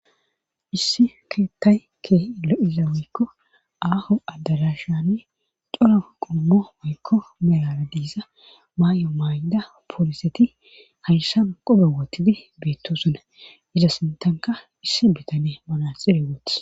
issi keettay keeh lo7iza moykko aaho adalashanne coro qommo moykko melara diiza may7o mayda pooliseti hayssan qobe wotidi beettosuna iza sintanka issi bitane manaxire wooths